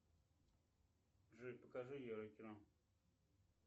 джой покажи еврокино